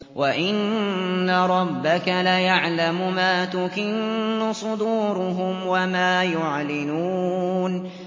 وَإِنَّ رَبَّكَ لَيَعْلَمُ مَا تُكِنُّ صُدُورُهُمْ وَمَا يُعْلِنُونَ